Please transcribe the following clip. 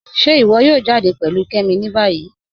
Ṣe íwọ yóò jàdẹ pẹ̀lú Kẹ́mí ní báyì?